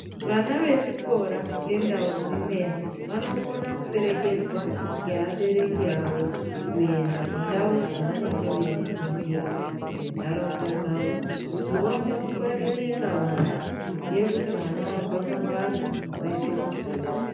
Vana vechikora ngendau dzimweni vanokona kuperekedzwa ngeabereki awo kuenda kundau dzavanenge veifundira mundaraunda dzavo kuti vaone kungwaririka vana kuziva kuti mwana wabva pambatso waende kuchikora